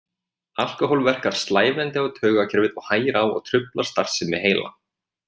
Alkóhól verkar slævandi á taugakerfið og hægir á og truflar starfsemi heila.